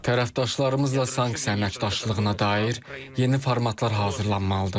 Tərəfdaşlarımızla sanksiya əməkdaşlığına dair yeni formatlar hazırlanmalıdır.